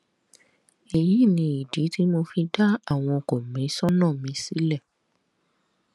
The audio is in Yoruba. èyí ni ìdí tí mo fi dá àwọn kọmíṣánná mi sílẹ